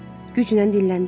Güclə dilləndi.